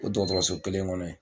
O dɔgɔtɔrɔso kelen kɔnɔ ye.